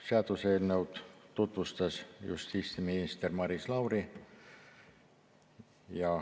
Seaduseelnõu tutvustas justiitsminister Maris Lauri.